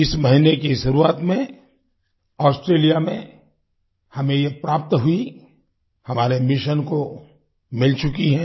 इस महीने की शुरुआत में ऑस्ट्रेलिया में हमें ये प्राप्त हुई हमारे मिशन को मिल चुकी है